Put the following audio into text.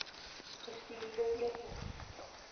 gestuurde e pos